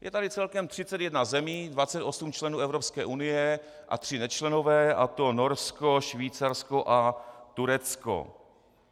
Je tady celkem 31 zemí, 28 členů Evropské unie a tři nečlenové, a to Norsko, Švýcarsko a Turecko.